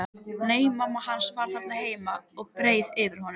Nei, mamma hans var þarna heima og beið eftir honum.